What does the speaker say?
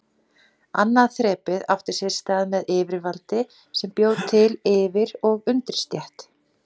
Annað þrepið átti sér stað með yfirvaldi sem bjó til yfir- og undirstétt.